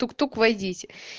тук тук войдите